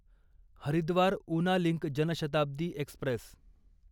Haridwar Una link Janshatabdi Express